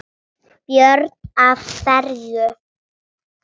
Björn: Af hverju?